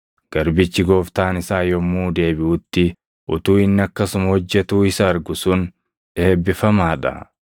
Garbichi gooftaan isaa yommuu deebiʼutti utuu inni akkasuma hojjetuu isa argu sun eebbifamaa dha.